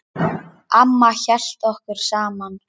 Amma hélt okkur saman.